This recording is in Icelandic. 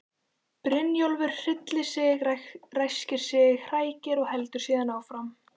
Brynjólfur hryllir sig, ræskir sig, hrækir og heldur síðan áfram.